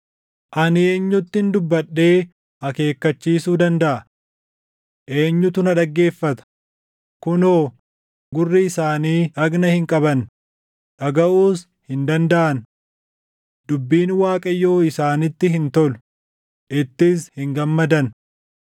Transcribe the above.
Ani eenyuttin dubbadhee akeekkachiisuu dandaʼa? Eenyutu na dhaggeeffata? Kunoo, gurri isaanii dhagna hin qabanne; dhagaʼuus hin dandaʼan. Dubbiin Waaqayyoo isaanitti hin tolu; ittis hin gammadan.